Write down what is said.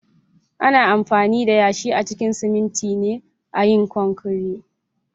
Ana amfani da yashi a cikin siminti a yin konkire